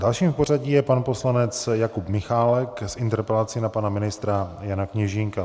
Dalším v pořadí je pan poslanec Jakub Michálek s interpelací na pana ministra Jana Kněžínka.